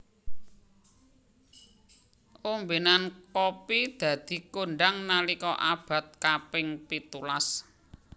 Ombenan kopi dadi kondhang nalika abad kaping pitulas